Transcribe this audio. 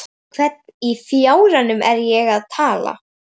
Við hvern í fjáranum á ég að tala?